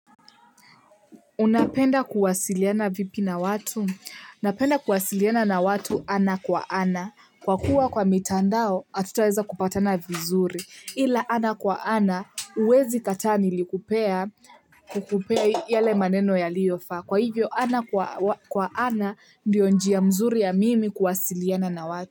Unapenda kuwasiliana vipi na watu? Napenda kuwasiliana na watu ana kwa ana. Kwa kuwa kwa mitandao, hatutaweza kupatana vizuri. Ila ana kwa ana, huwezi kataa nilikupea kukupea yale maneno yaliyofa. Kwa hivyo, ana kwa ana, ndio njia mzuri ya mimi kuwasiliana na watu.